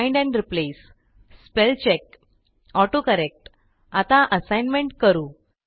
find and replace spell check autocorrect आता assignment करू